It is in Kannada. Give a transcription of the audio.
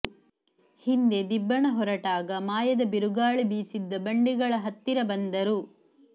ಹಿಂದೆ ದಿಬ್ಬಣ ಹೊರಟಾಗ ಮಾಯದ ಬಿರುಗಾಳಿ ಬೀಸಿದ್ದ ಬಂಡೆಗಳ ಹತ್ತಿರ ಬಂದರು